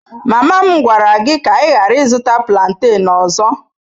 Mama m gwara gị ka ị ghara ịzụrụ plantain ọzọ.